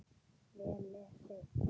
Vel lesið.